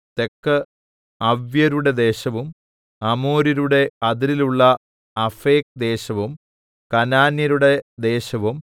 തെക്ക് അവ്യരുടെ ദേശവും അമോര്യരുടെ അതിരിലുള്ള അഫേക്ക് ദേശവും കനാന്യരുടെ ദേശവും